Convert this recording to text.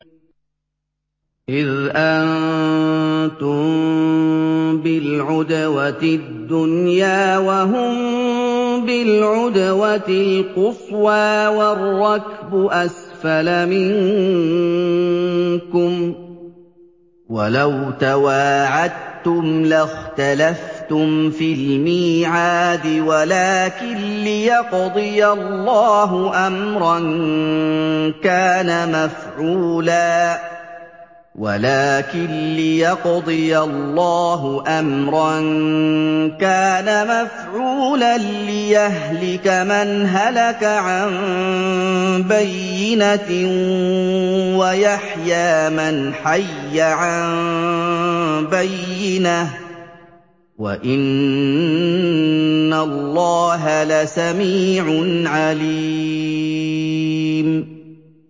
إِذْ أَنتُم بِالْعُدْوَةِ الدُّنْيَا وَهُم بِالْعُدْوَةِ الْقُصْوَىٰ وَالرَّكْبُ أَسْفَلَ مِنكُمْ ۚ وَلَوْ تَوَاعَدتُّمْ لَاخْتَلَفْتُمْ فِي الْمِيعَادِ ۙ وَلَٰكِن لِّيَقْضِيَ اللَّهُ أَمْرًا كَانَ مَفْعُولًا لِّيَهْلِكَ مَنْ هَلَكَ عَن بَيِّنَةٍ وَيَحْيَىٰ مَنْ حَيَّ عَن بَيِّنَةٍ ۗ وَإِنَّ اللَّهَ لَسَمِيعٌ عَلِيمٌ